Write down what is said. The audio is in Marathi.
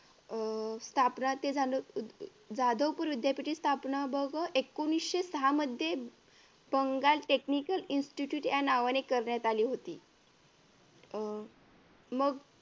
अह स्थापना ते झालं जाधवपूर विद्यापीठ हि स्थापना बघ हा एकोणविशे सहा मध्ये बंगाल technical institute या नावाने करण्यात आली होती अह मग